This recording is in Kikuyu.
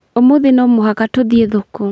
Ũmũthĩ no mũhaka tũthiĩ thoko